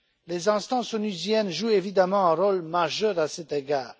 Les instances onusiennes jouent évidemment un rôle majeur à cet égard.